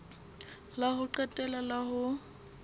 la ho qetela la ho